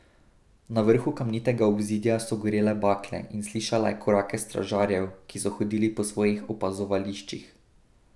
Na vrhu kamnitega obzidja so gorele bakle in slišala je korake stražarjev, ki so hodili po svojih opazovališčih.